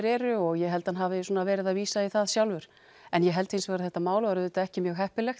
eru og ég held hann hafi verið að vísa í það sjálfur en ég held hins vegar að þetta mál var auðvitað ekki mjög heppilegt